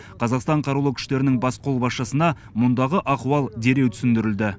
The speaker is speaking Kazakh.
қазақстан қарулы күштерінің бас қолбасшысына мұндағы ахуал жан жақты түсіндірілді